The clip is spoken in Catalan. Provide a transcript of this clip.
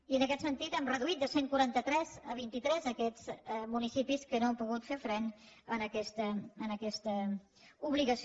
i en aquest sentit hem reduït de cent i quaranta tres a vint tres aquests municipis que no han pogut fer front a aquesta obligació